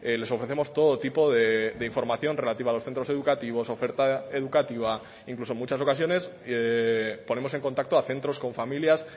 les ofrecemos todo tipo de información relativa a los centros educativos oferta educativa incluso en muchas ocasiones ponemos en contacto a centros con familias